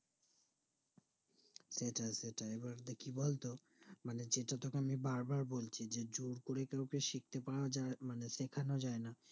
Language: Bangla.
সেটাই সেটাই এবার কি বলতো মানে যেটা তোকে আমি বার বার বলছি যে জোরকরে কাওকে শিখতে পরাযাই মানে সেখান যাই না